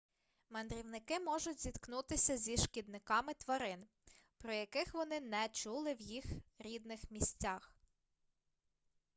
мандрівники можуть зіткнутися зі шкідниками тварин про яких вони не чули в їх рідних місцях